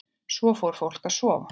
Svo fór fólk að sofa.